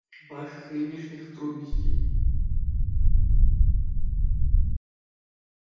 ваших нынешних трудностей